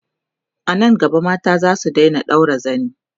anan gaba mata zasu Daina ɗaura zani